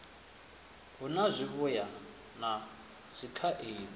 hu na zwivhuya na dzikhaedu